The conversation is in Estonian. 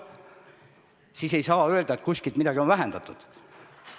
Seega ei saa öelda, et kuskil on midagi vähendatud.